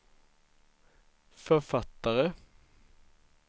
författare